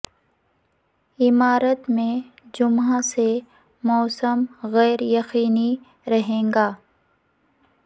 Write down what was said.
امارات میں جمعہ سے موسم غیر یقینی رہے گا